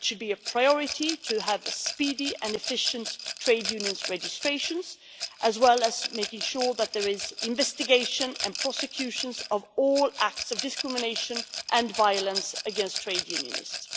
It should be a priority to have speedy and efficient trade unions registrations, as well as making sure that there is investigation and prosecutions of all acts of discrimination and violence against trade unionists.